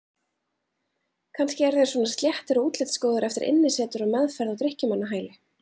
Kannski eru þeir svona sléttir og útlitsgóðir eftir innisetur og meðferð á drykkjumannahæli.